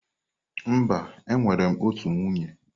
Mba, enwere m otu nwunye.